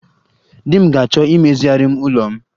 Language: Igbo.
Di m ga-achọ imezigharịrị m ime ụlọ m